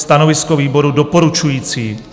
Stanovisko výboru: doporučující.